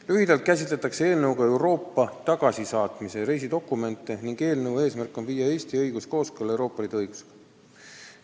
Lühidalt öeldes käsitletakse eelnõuga Euroopa tagasisaatmise reisidokumente ning eelnõu eesmärk on viia Eesti õigus kooskõlla Euroopa Liidu õigusega.